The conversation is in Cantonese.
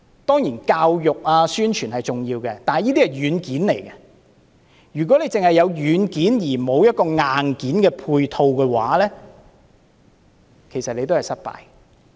當然，教育和宣傳是重要的，但這些只是軟件，如果只有軟件而沒有硬件配套，其實都是失敗的。